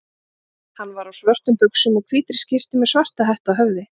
Hann var á svörtum buxum og hvítri skyrtu með svarta hettu á höfði.